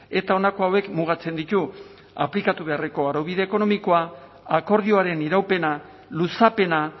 eta honako hauek mugatzen ditu aplikatu beharreko araubide ekonomikoa akordioaren iraupena luzapena